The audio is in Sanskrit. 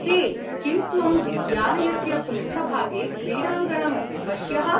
हे, किं त्वं विद्यालयस्य पृष्ठभागे क्रीडाङ्गणम् अपश्यः?